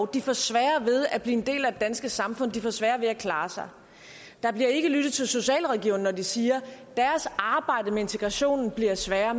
de får sværere ved at blive en del af det danske samfund de får sværere ved at klare sig der bliver ikke lyttet til socialrådgiverne når de siger at deres arbejde med integration bliver sværere